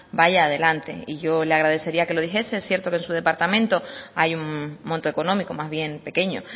vaya adelante yo le agradecería que lo dijese cierto que en su departamento hay un monto económico más bien pequeño